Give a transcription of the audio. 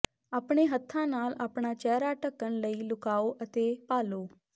ਆਪਣੇ ਹੱਥਾਂ ਨਾਲ ਆਪਣਾ ਚਿਹਰਾ ਢੱਕਣ ਲਈ ਲੁਕਾਓ ਅਤੇ ਭਾਲੋ